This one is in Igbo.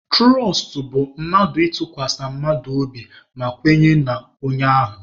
Tụrọst bụ mmadụ ịtụkwasị mmadụ obi ma kwenye n'onye ahụ.